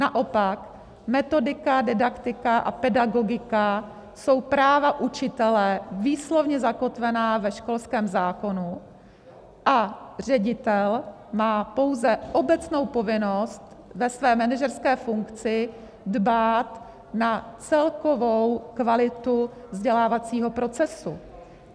Naopak metodika, didaktika a pedagogika jsou práva učitele výslovně zakotvená ve školském zákonu a ředitel má pouze obecnou povinnost ve své manažerské funkci dbát na celkovou kvalitu vzdělávacího procesu.